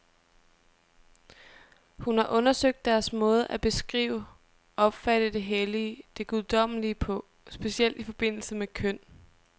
Hun har undersøgt deres måde at beskrive, opfatte det hellige, det guddommelige på, specielt i forbindelse med køn.